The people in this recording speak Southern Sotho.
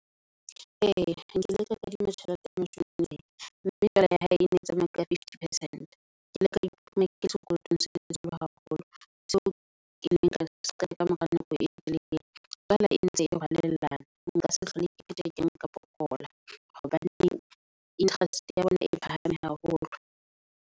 Ee, nkile ka kadima tjhelete ya mashobeseng mme jwale ya hae e ne e tsamaya ka fifty percent. Ke ile ka iphumana ke le sekolotong se hodimo haholo. Seo kileng ka seqeta ka mora nako e telele, tswala e ntse e halellana. Nka se hlole ke pheta ke nka pokola, hobaneng interest ya bona e phahame haholo.